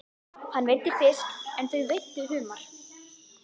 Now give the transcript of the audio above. Hann veiddi fisk en þau veiddu humar.